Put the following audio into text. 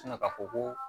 ka fɔ ko